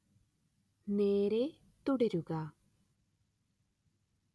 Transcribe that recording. നേരേ തുടരുക